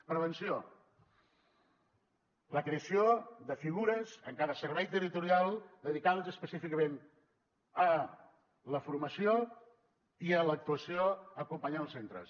prevenció la creació de figures en cada servei territorial dedicades específicament a la formació i a l’actuació acompanyant els centres